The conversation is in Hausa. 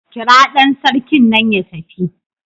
Kira dan sarkin nan ya tafi.